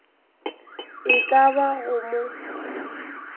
e ka ba go mo